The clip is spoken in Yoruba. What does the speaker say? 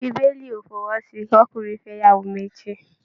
Bíbélì o fọwọ́ sí kí ọkùnrin fẹ ìyàwó méjì.